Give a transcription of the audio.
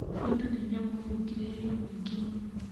Bunda nĩ nyamũ ĩ ũkirĩrĩria mũĩngĩ mũno.